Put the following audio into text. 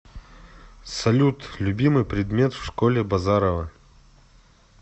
салют любимый предмет в школе базарова